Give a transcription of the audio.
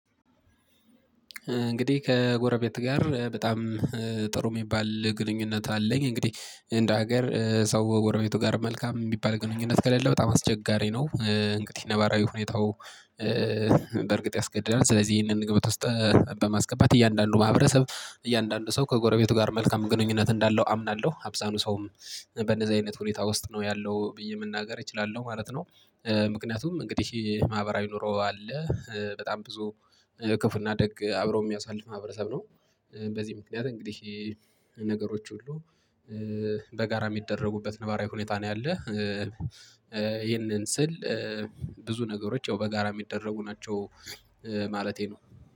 እንግዲህ ከጎረቤት ጋር በጣም ጥሩ የሚባል ግንኙነት አለኝ። እንግዲህ እንደ ሀገር ሰው ከጎረቤቱ ጋር መልካም የሚባል ግንኙነት ከሌለ በጣም አስቸጋሪ ነው እንግዲህ ነባራዊ ሁኔታው። በእርግጥ ያስገድዳል ስለዚህ ይህንን ግምት ውስጥ በማስገባት እያንዳንዱ ማህበረሰብ እያንዳንዱ ሰው ከጎረቤቱ ጋር መልካም ግንኙነት እንዳለው አምናለሁ። አብዛኑ ሰውም በንደዚህ አይነት ሁኔታ ውስጥ ነው ያለው ብዬ መናገር እችላለሁ ማለት ነው። ምክንያቱም እንግዲህ ማህበራዊ ኑሮ አለ በጣም ብዙ ክፉ እና ደግ አብረው የሚያሳልፍ ማህበረሰብ ነው። በዚህ ምክንያት እንግዲህ ነገሮች ሁሉ በጋራ የሚደረጉበት ነባራዊ ሁኔታ ነው ያለ። ይህንን ስል ብዙ ነገሮች ያው በጋራ የሚደረጉ ናቸው ማለቴ ነው።